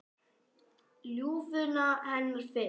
Ljúfuna hennar fyrst.